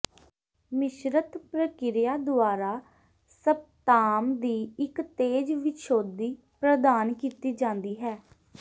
ਮਿਸ਼ਰਤ ਪ੍ਰਕਿਰਿਆ ਦੁਆਰਾ ਸਪਤਾਮ ਦੀ ਇੱਕ ਤੇਜ਼ ਵਿਛੋਧੀ ਪ੍ਰਦਾਨ ਕੀਤੀ ਜਾਂਦੀ ਹੈ